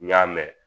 N y'a mɛn